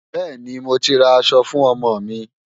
Bẹ́ẹ̀ni, mo ti ra aṣọ fún ọmọ mi.